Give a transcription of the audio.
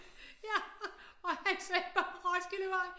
Ja og han sagde Roskildevej